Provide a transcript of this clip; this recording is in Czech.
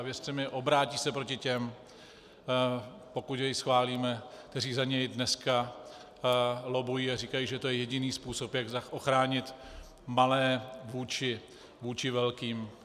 A věřte mi, obrátí se proti těm, pokud jej schválíme, kteří za něj dneska lobbují a říkají, že to je jediný způsob, jak ochránit malé vůči velkým.